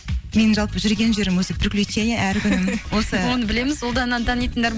менің жалпы жүрген жерім өзі приключение әр күнім осы оны білеміз ұлдананы танитындар